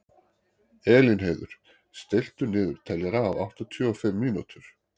Elínheiður, stilltu niðurteljara á áttatíu og fimm mínútur.